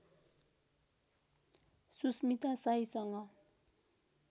Susmita शाहीसँग